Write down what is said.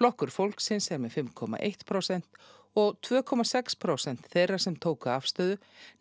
flokkur fólksins er með fimm komma eitt prósent og tvö komma sex prósent þeirra sem tóku afstöðu